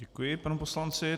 Děkuji panu poslanci.